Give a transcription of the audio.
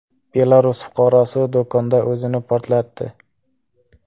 Belarus fuqarosi do‘konda o‘zini portlatdi.